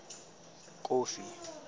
kofi